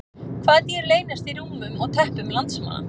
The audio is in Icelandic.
Hvaða dýr leynast í rúmum og teppum landsmanna?